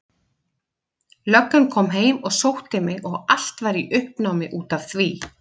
Löggan kom heim og sótti mig og allt var í uppnámi út af því.